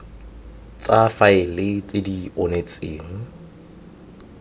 tsa faele tse di onetseng